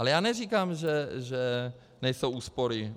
A já neříkám, že nejsou úspory.